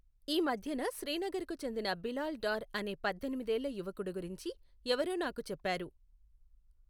ఈ మధ్యన శ్రీనగర్ కు చెందిన బిలాల్ డార్ అనే పధ్ధెనిమిదేళ్ల యువకుడు గురించి ఎవరో నాకు చెప్పారు.